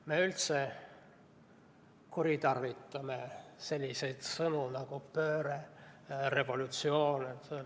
Me üldse kuritarvitame selliseid sõnu nagu "pööre" ja "revolutsioon".